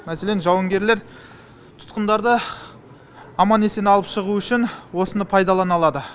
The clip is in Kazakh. мәселен жауынгерлер тұтқындарды аман есен алып шығу үшін осыны пайдалана алады